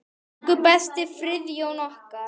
Elsku besti Friðjón okkar.